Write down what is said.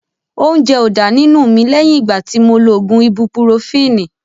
Óúnjẹ ó dá nínú mi lẹ́yìn ìgbà tí mo lo ògùn ibupurofini